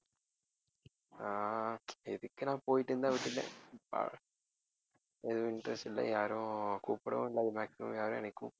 ஆஹ் எதுக்கு நான் போயிட்டுனு தான் விட்டுட்டேன் ஆஹ் எதுவும் interest இல்லை யாரும் கூப்பிடவும் இல்லை maximum யாரும் என்னை கூப்~